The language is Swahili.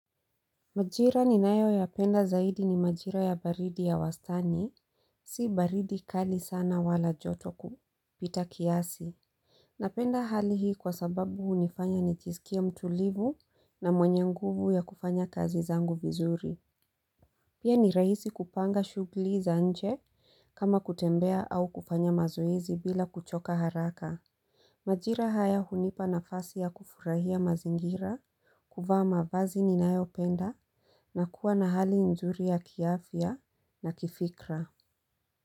Majira ninayo yapenda zaidi ni majira ya baridi ya wastani si baridi kali sana wala joto kupita kiasi Napenda hali hii kwa sababu hunifanya nijisikie mtulivu na mwenye nguvu ya kufanya kazi zangu vizuri Pia ni rahisi kupanga shughuli za nje kama kutembea au kufanya mazoezi bila kuchoka haraka Majira haya hunipa nafasi ya kufurahia mazingira kuvaa mavazi ninayopenda na kuwa na hali nzuri ya kiafya na kifikra.